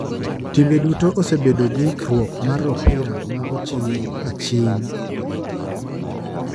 Timbe duto osebedo gi ikruok mar opira ma ochiyo aching .